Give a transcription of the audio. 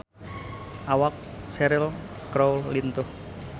Awak Cheryl Crow lintuh